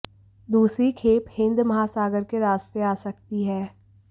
दूसरी खेप हिंद महासागर के रास्ते आ सकती है